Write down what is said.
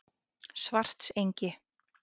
Svartsengi